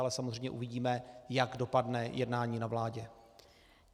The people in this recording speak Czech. Ale samozřejmě uvidíme, jak dopadne jednání na vládě.